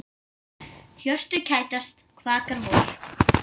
Hjörtu kætast, kvakar vor.